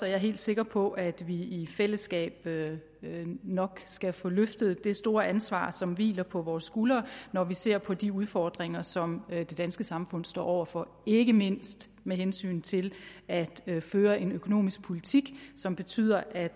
er helt sikker på at vi i fællesskab nok skal få løftet det store ansvar som hviler på vores skuldre når vi ser på de udfordringer som det danske samfund står over for ikke mindst med hensyn til at føre en økonomisk politik som betyder at